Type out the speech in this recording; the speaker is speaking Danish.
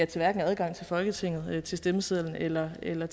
til adgang til folketinget stemmesedlen eller eller